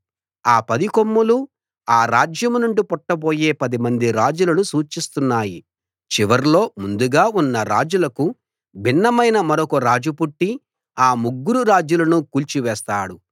ఆ పది కొమ్ములు ఆ రాజ్యం నుండి పుట్టబోయే పదిమంది రాజులను సూచిస్తున్నాయి చివర్లో ముందుగా ఉన్న రాజులకు భిన్నమైన మరొక రాజు పుట్టి ఆ ముగ్గురు రాజులను కూల్చి వేస్తాడు